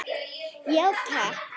Já takk.